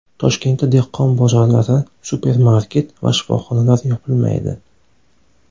Toshkentda dehqon bozorlari, supermarket va shifoxonalar yopilmaydi.